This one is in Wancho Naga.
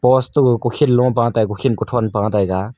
wasto ga kukhin lopa tai kukhin kuthon pa taiga.